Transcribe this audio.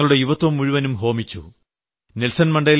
ഇങ്ങനെ തങ്ങളുടെ യുവത്വം മുഴുവൻ ഹോമിച്ചു